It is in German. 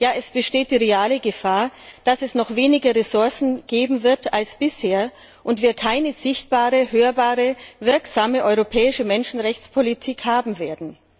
Es besteht die reale Gefahr, dass es noch weniger Ressourcen geben wird als bisher und wir keine sichtbare, hörbare, wirksame europäische Menschenrechtspolitik haben werden.